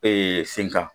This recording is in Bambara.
sen kan